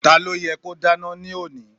Ta ló yẹ́ kó dáná ní òní?